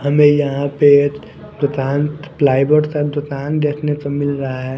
हमें यहाँ पे दुकान प्लाई बोर्ड का दुकान देखने को मिल रहा है।